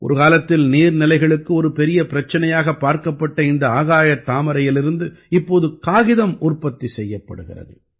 ஒரு காலத்தில் நீர்நிலைகளுக்கு ஒரு பிரச்சனையாகப் பார்க்கப்பட்ட இந்த ஆகாயத் தாமரையிலிருந்து இப்போது காகிதம் உற்பத்தி செய்யப்படுகிறது